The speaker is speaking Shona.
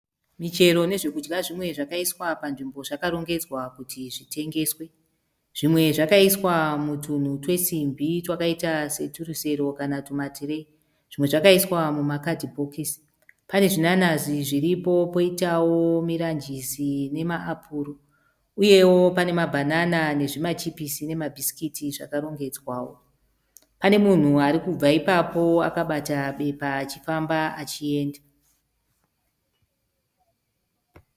Michero nezvokudya zvimwe zvakaiswa panzvimbo zvakarongedzwa kuti zvitengeswe. Zvimwe zvakaiswa mutunhu twesimbi twakaita seturusero netumatireyi. Zvimwe zvakaiswa mumakadhibhokisi. Pane zvinanazi zviripo poitawo miranjisi nemaapuro poitawo zvimabhsikitsi zvakarongedzwawo. Panemunhu arikubva ipapo akabata bepa achifamba achienda.